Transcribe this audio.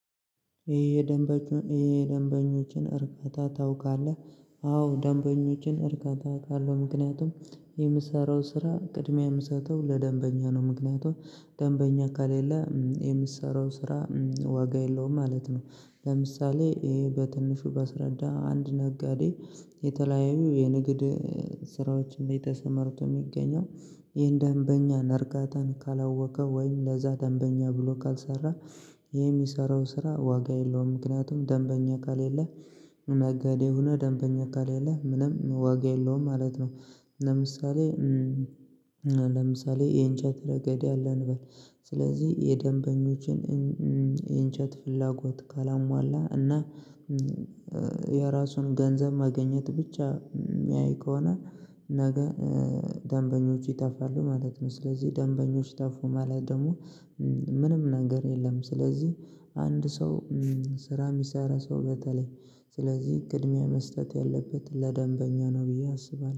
ይሄ የደንበኞችን እርካታ ታውቃለ? አዎ ደንበኞችን እርካታ ካለው ምክንያቱም የምትሰራው ስራ ቅድሚያ የምትሰጠው ለደንበኛ ነው፤ ምክንያቱም ደንበኛ ከሌለ የምትሰራው ስራ ዋጋ የለውም ማለት ነው ለምሳሌ ይሄ በትንሹ በስረዳ አንድ ነጋዴ የተለያዩ የንግድ ስራዎችን እንዴት ተሰማርቶ የሚገኘው ይሄን ደንበኛ ነርጋታን ካላወቀ ወይም ለዛ ደንበኛ ብሎ ካልሰራ ይሄ የሚሰራው ስራ ዋጋ የለውም፤ ምክንያቱም ደንበኛ ከሌለ ነገዴ ሆነህ ደንበኛ ከሌለህ ምንም ዋጋ የለውም ማለት ነው ለምሳሌ ለምሳሌ ይሄን የእንጨት ረገድ ያለ እንበል ስለዚህ የደንበኞችን የእንጨት ፍላጎት ካላሟላ እና የራሱን ገንዘብ ማግኘት ብቻ የሚያይ ከሆነ ነገ ደንበኞች ይጠፋሉ ማለት ነው፤ ስለዚህ ደንበኞች ጠፉ ማለት ደግሞ ምንም ነገር የለም ስለዚህ አንድ ሰው ስራ የሚሰራ ሰው በተለይ ስለዚህ ቅድሚያ መስጠት ያለበት ለደንበኛ ነው ብዬ አስባለሁ።